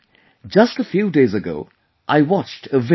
just a few days ago I watched a video